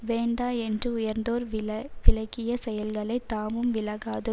வேண்டா என்று உயர்ந்தோர் விலவிலக்கிய செயல்களை தாமும் விலகாத